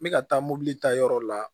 N bɛ ka taa mobili ta yɔrɔ la